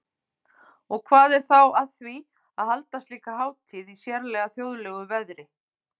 Og hvað er þá að því að halda slíka hátíð í sérlega þjóðlegu veðri?